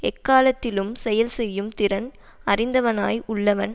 எக்காலத்திலும் செயல் செய்யும் திறன் அறிந்தவனாய் உள்ளவன்